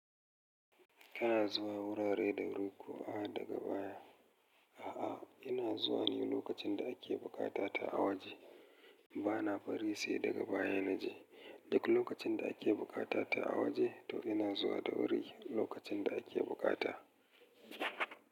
Kana zuwa wurare da wuri ko a daga baya? A'a, ina zuwa ne lokacin da ake bukata ta a waje. Bana bari sai daga baya na je. Duk lokacin da ake bukata ta a waje, to ina zuwa da wuri lokacin da ake bukata.